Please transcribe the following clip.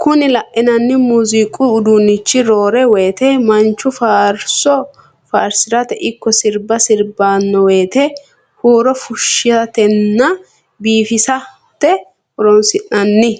Kuni lainananni muuziiqu udunnichi roore woyte manchu faarso faarsirate ikko sirba sirbannowete huuro fushshatenna biifisate horonsi'nanni.